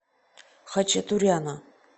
хачатуряна